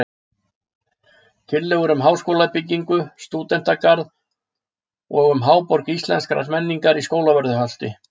Tillögur um háskólabyggingu, stúdentagarð og um Háborg íslenskrar menningar á Skólavörðuholti.